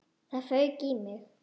Það fauk í mig.